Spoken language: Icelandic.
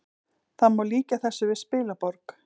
Það má líkja þessu við spilaborg